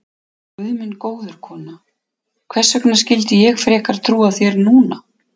Guð minn góður, kona, hvers vegna skyldi ég frekar trúa þér núna?